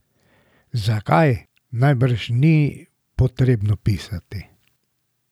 Zakaj, najbrž ni potrebno pisati.